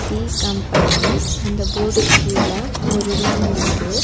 Tea company அந்த போர்டுக் கீழ ஒரு ரூம் இருக்கு.